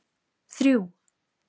þrjú